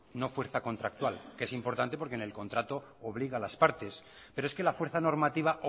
no fuerza contractual es importante porque en el contrato obliga a las partes pero es que la fuerza normativa